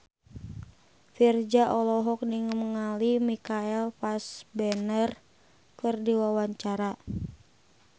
Virzha olohok ningali Michael Fassbender keur diwawancara